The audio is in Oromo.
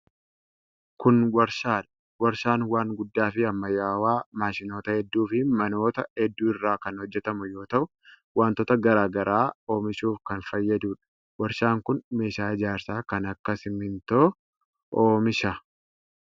Kun warshaa dha. Warshaan waan guddaa fi ammayyawaa maashinoota hedduu fi manoota hedduu irraa kan hojjatamu yoo ta'u, wantoota garaa garaa oomishuuf kan fayyaduu dha. Warshaan kun meeshaa ijaarsaa kan akka simiintoo oomisha.